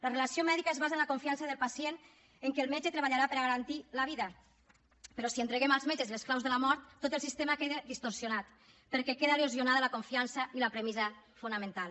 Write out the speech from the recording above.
la relació mèdica es basa en la confiança del pacient en que el metge treballarà per a garantir la vida però si entreguem als metges les claus de la mort tot el sistema queda distorsionat perquè queda erosionada la confiança i la premissa fonamental